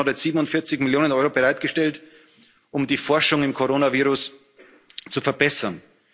ist. Die EU Kommission hat jetzt 47 Millionen Euro bereitgestellt, um die Forschung am Coronavirus zu